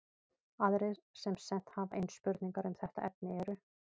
Aðrir sem sent hafa inn spurningar um þetta efni eru: